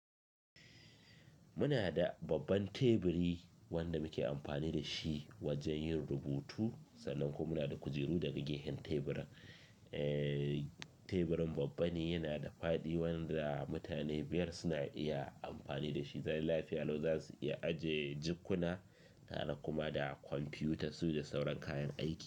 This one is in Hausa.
Muna da babban teburi wanda muke amfani da shi wajen yin rubutu, sannan kuma muna da kujeru daga gefen teburan. Eh, teburin babba ne, yana da faaɗi wanda mutane biyar suna iya amfani da shi. Zalai lafiya lau za su iya aje jakkuna tare kuma da kwamfutar su da sauran kayan aiki.